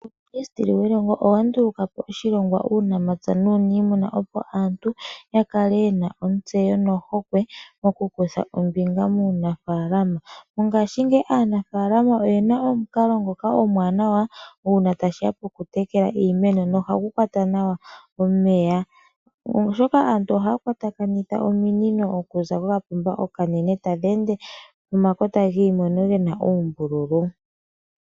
Uuminisiteli welongo, owandulukapo oshilongwa mosikola shuunamapya nuunimuna opo aantu yakale yena ontseyo no hokwe nkene yena okukutha ombinga muunafaalama. Mongaashi ngeyi aanafalama oyena omukalo ngoka omwaanawa uuna ngele tashiya poku tekela iimeno nomukalo nguka ohagu kwata nawa omeya, oshoka aantu ohaa kwatakanitha ominino okuza kokapomba okanene tadheende pomakota giimeno gena uumbululu.